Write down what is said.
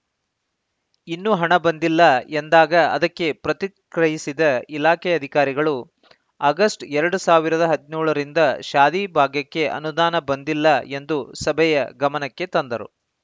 ಇನ್ನೂ ಹಣ ಬಂದಿಲ್ಲ ಎಂದಾಗ ಅದಕ್ಕೆ ಪ್ರತಿಕ್ರಯಿಸಿದ ಇಲಾಖೆ ಅಧಿಕಾರಿಗಳು ಆಗಸ್ಟ್‌ ಎರಡ್ ಸಾವಿರದ ಹದ್ನೇಳರಿಂದ ಶಾದಿ ಭಾಗ್ಯಕ್ಕೆ ಅನುದಾನ ಬಂದಿಲ್ಲ ಎಂದು ಸಭೆಯ ಗಮನಕ್ಕೆ ತಂದರು